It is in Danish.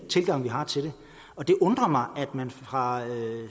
tilgang vi har til det det undrer mig at man nu fra